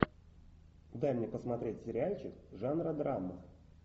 дай мне посмотреть сериальчик жанра драма